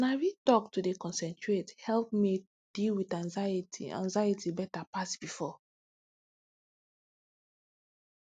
na real talk to dey concentrate help me deal with anxiety anxiety better pass before